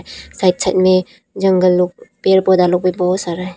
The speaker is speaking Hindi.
साइड साइड में जंगल लोग और पेड़ पौधा लोग भी बहुत सारा है।